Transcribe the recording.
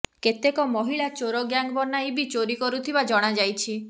କେତେକ ମହିଳା ଚୋର ଗ୍ୟାଙ୍ଗ୍ ବନାଇ ବି ଚୋରି କରୁଥିବା ଜଣାଯାଇଛି